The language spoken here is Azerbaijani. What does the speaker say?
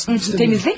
Təmizləməyimmi?